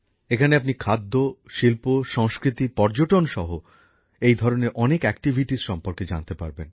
এখানে আপনি খাদ্য শিল্প সংস্কৃতি পর্যটন সহ এই ধরনের অনেক কার্যকলাপ সম্পর্কে জানতে পারবেন